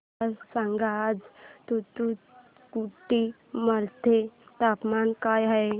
मला सांगा आज तूतुकुडी मध्ये तापमान काय आहे